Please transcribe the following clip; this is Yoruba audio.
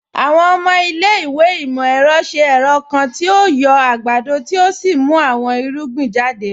Àwọn ọmọ ilẹ̀-ìwé imọ-ẹrọ ṣẹ̀ ẹrọ̀ kan tí o yọ̀ agbádọ̀ tí o sì mú àwọn irugbìn jàdẹ̀.